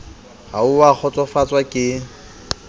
ha o a kgotsofatswa ke